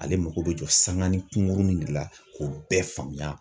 Ale mako bɛ jɔ sanga ni kunkurunin de la k'o bɛɛ faamuya